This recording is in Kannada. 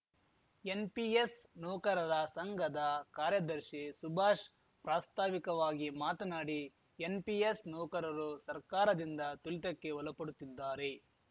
ಎನ್‌ಪಿಎಸ್‌ ನೌಕರರ ಸಂಘದ ಕಾರ್ಯದರ್ಶಿ ಸುಭಾಷ್‌ ಪ್ರಾಸ್ತಾವಿಕವಾಗಿ ಮಾತನಾಡಿ ಎನ್‌ಪಿಎಸ್‌ ನೌಕರರು ಸರ್ಕಾರದಿಂದ ತುಲಿತಕ್ಕೆ ಒಲಪಡುತ್ತಿದ್ದಾರೆ